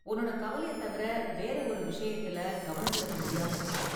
உன்னோட கவலைய தவிர வேற ஒரு விஷயத்துல கவனம் செலுத்த முடியாம இருக்கா?